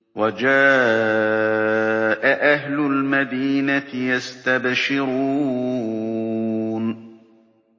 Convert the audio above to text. وَجَاءَ أَهْلُ الْمَدِينَةِ يَسْتَبْشِرُونَ